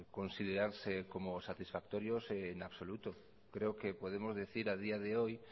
considerarse como satisfactorios en absoluto creo que podemos decir a día de hoy